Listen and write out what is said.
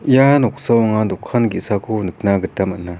ia noksao anga dokan ge·sako nikna gita man·a.